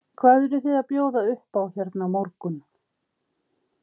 Hvað eruð þið að bjóða upp á hérna á morgun?